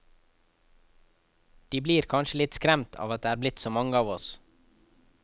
De blir kanskje litt skremt av at det er blitt så mange av oss.